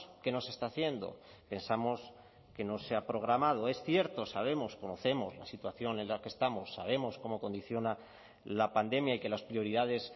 que no se está haciendo pensamos que no se ha programado es cierto sabemos conocemos la situación en la que estamos sabemos cómo condiciona la pandemia y que las prioridades